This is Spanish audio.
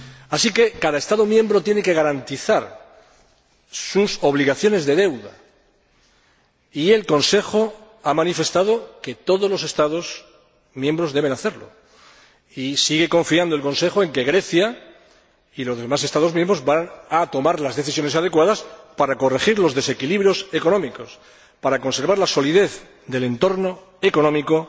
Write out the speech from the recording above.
Así que cada Estado miembro tiene que garantizar sus obligaciones de deuda y el Consejo ha manifestado que todos los Estados miembros deben hacerlo y sigue confiando el Consejo en que Grecia y los demás Estados miembros vayan a tomar las decisiones adecuadas para corregir los desequilibrios económicos, para conservar la solidez del entorno económico